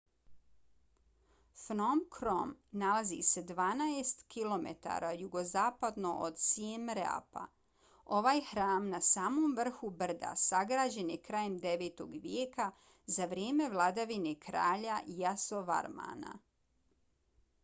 phnom krom nalazi se 12 km jugozapadno od siem reapa. ovaj hram na samom vrhu brda sagrađen je krajem 9. vijeka za vrijeme vladavine kralja yasovarmana